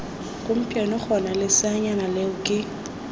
gompieno gona leseanyana leo ke